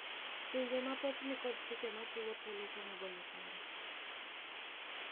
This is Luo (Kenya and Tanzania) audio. Pinje mathoth nikod chike machiwo thuolo kuom golo paro.